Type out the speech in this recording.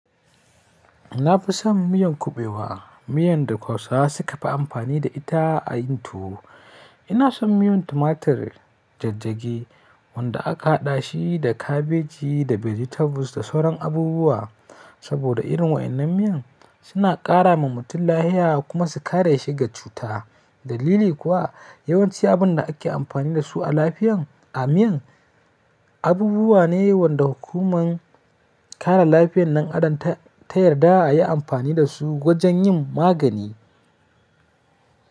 Na fison miyar kuɓewa, miyar da hausawa suka fi amfani da ita a yin tuwo ina son miyan tumatir jajjage wanda aka haɗa shi da kabeji da vegetables da sauran abubuwa. Saboda irin wa'inan miyan suna ƙara wa mutum lafiya kuma su kare shi daga cuta. Dalili kuwa yawanci abin da ake amfani da su a lafiyan a miyan abubuwa ne wanda hukuman kare lafiyan ɗan Adam ta yarda a yi amfani da su wajen yin magani.